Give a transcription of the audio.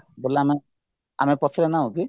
ଆମେ ଆମେ ପଛରେ ନାହୁଁକି